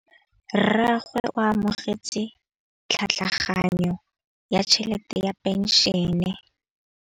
Rragwe o amogetse tlhatlhaganyô ya tšhelête ya phenšene.